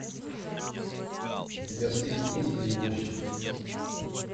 у тебя в списке есть перевозчик